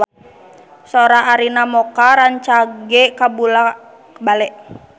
Sora Arina Mocca rancage kabula-bale